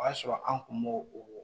O y'a sɔrɔ an kun b'o o